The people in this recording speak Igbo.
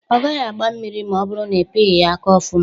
..ọ gaghị agba mmiri ma ọ bụrụ na ipighị ya aka ọfụma